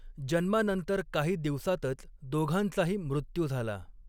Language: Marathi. जन्मानंतर काही दिवसांतच दोघांचाही मृत्यू झाला.